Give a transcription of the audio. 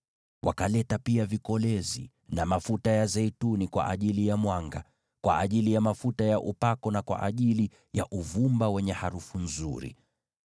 Wakaleta pia vikolezi na mafuta ya zeituni kwa ajili ya mwanga, kwa ajili ya mafuta ya upako na kwa ajili ya uvumba wenye harufu nzuri.